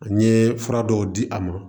An ye fura dɔw di a ma